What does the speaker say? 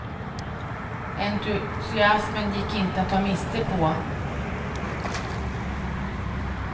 Entusiasmen gick inte att ta miste på.